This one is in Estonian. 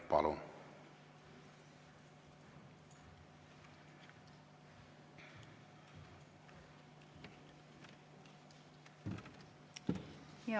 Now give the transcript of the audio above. Palun!